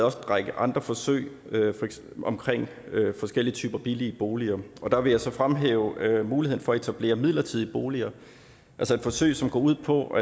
række andre forsøg om forskellige typer af billige boliger og der vil jeg så fremhæve muligheden for at etablere midlertidige boliger altså et forsøg som går ud på